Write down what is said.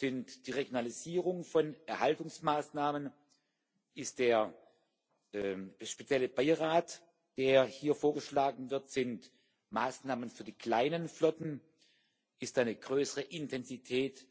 die Regionalisierung von Erhaltungsmaßnahmen, der spezielle Beirat, der hier vorgeschlagen wird, Maßnahmen für die kleinen Flotten, eine größere Intensität